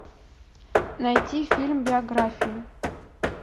найти фильм биографию